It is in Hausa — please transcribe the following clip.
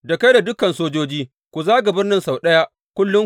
Da kai da dukan sojoji, ku zaga birnin sau ɗaya kullum.